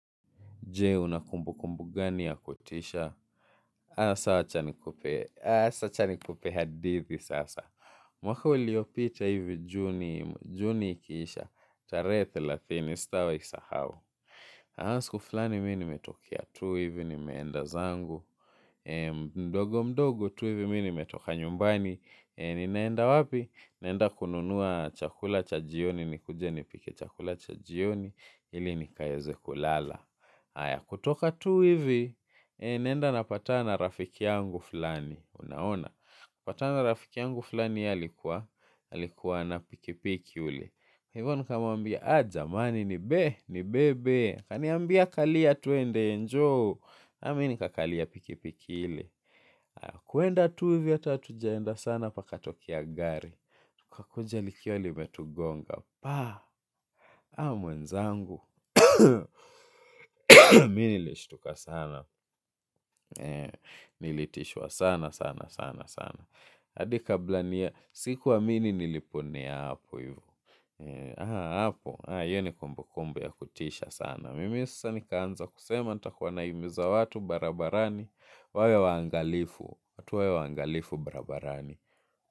Je, unakumbukumbu gani ya kutisha? Asa acha nikupe hadithi sasa. Mwaka uliopita hivi juni ikisha. Tarehe thelathini sitawai sahau. Asiku fulani mi nimetokia tu hivi nimeenda zangu. Mdogo mdogo tu hivi mi nimetoka nyumbani. Ninaenda wapi? Ninaenda kununua chakula cha jioni. Nikuje nipike chakula cha jioni. Ili nikaeze kulala. Aya kutoka tu hivi, naenda napatana na rafiki yangu fulani, unaona. Patana na rafiki yangu fulani yeye alikuwa, alikuwa na pikipiki ule. Hivyo nikamwambia, jamani ni be, nibebe. Kaniambia kalia tuende njoo, amini kakalia pikipiki ile. Kuenda tu hivi ata hatujaenda sana pakatokea gari. Kakuja likiwa limetugonga, paa, haa mwenzangu. Mi nilishtuka sana. Nilitishwa sana sana sana sana adi kabla niya sikuamini niliponea hapo hivi. Haa hapo. Hiyo ni kumbu kumbu ya kutisha sana. Mimi sasa ni kaanza kusema nitakuwa naimiza watu barabarani. Wawe wangalifu tuwe waangalifu barabarani.